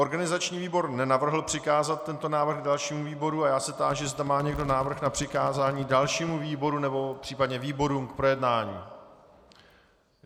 Organizační výbor nenavrhl přikázat tento návrh dalšímu výboru a já se táži, zda má někdo návrh na přikázání dalšímu výboru nebo případně výborům k projednání.